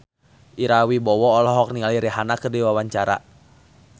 Ira Wibowo olohok ningali Rihanna keur diwawancara